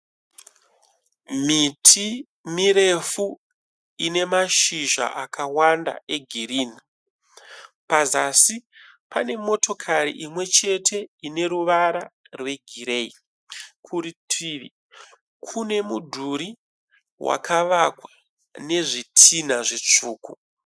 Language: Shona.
Miti mirefu ine mashizha akawanda egirini. Pazasi pane motokari imwechete ine ruvara rwegireyi. Kurutivi kune mudhuri wakavakwa nezvitinha zvitsvuku.